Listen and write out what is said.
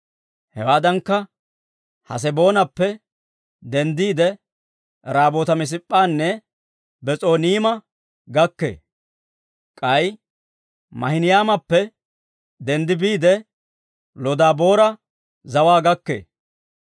Hewaadankka, Haseboonappe denddiide, Raamoota-Mis'ip'p'anne Bes'oniima gakkee; k'ay Maahinaymappe denddi biide, Lodabaara zawaa gakkee.